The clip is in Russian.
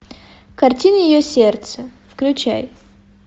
картина ее сердце включай